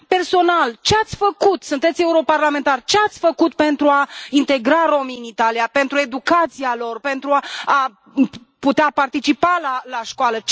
Personal, ce ați făcut, sunteți europarlamentar, ce ați făcut pentru a integra romii în Italia, pentru educația lor, pentru a putea participa la școală?